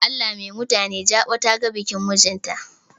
Allah mai mutantani jaɓa ta ga bakin mijin ta.